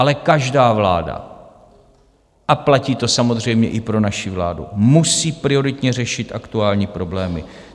Ale každá vláda, a platí to samozřejmě i pro naši vládu, musí prioritně řešit aktuální problémy.